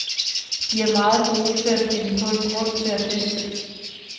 De er meget gode til at finde på en grund til at feste.